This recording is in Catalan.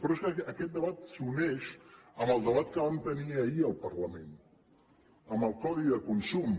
però és que aquest debat s’uneix amb el debat que vam tenir ahir al parlament amb el codi de consum